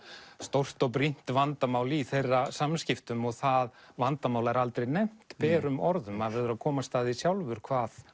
stórt og brýnt vandamál í þeirra samskiptum og það vandamál er aldrei nefnt berum orðum maður verður að komast að því sjálfur hvað